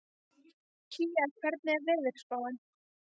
Kía, hvernig er veðurspáin?